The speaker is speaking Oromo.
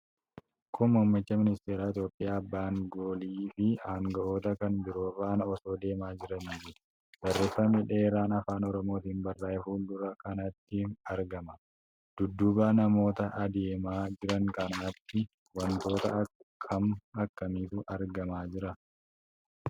Kun Muummichi Ministeeraa Itoophiyaa Abba angoliin fi anga'oota kan biroo faana osoo deemaa jiraniiti. Barreefami dheeraan Afaan Oromootiin barraa'ee fuuldura kanatti argama. Dudduuba namoota adeemaa jiran kanaatti wantoota akkam akkamiitu argamaa jira?